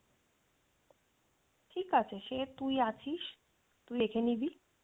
ঠিকআছে সে তুই আছিস তুই দেখে নিবি